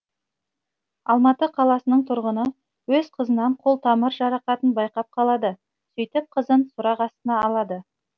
алматы қаласынң тұрғыны өз қызынан қол тамыр жарақатын байқап қалады сөйтіп қызын сұрақ астына алады